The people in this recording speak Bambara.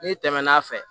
N'i tɛmɛn'a fɛ